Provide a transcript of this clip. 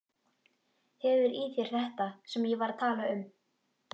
Hefur í þér þetta sem ég var að tala um.